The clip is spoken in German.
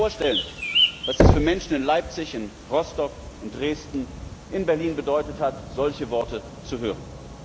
Sie können sich vorstellen, was es für Menschen in Leipzig, in Rostock, in Dresden, in Berlin bedeutet hat, solche Worte zu hören.